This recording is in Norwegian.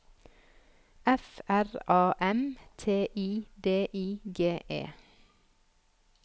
F R A M T I D I G E